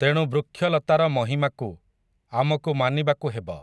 ତେଣୁ ବୃକ୍ଷଲତାର ମହିମାକୁ, ଆମକୁ ମାନିବାକୁ ହେବ ।